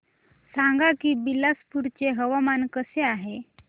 सांगा की बिलासपुर चे हवामान कसे आहे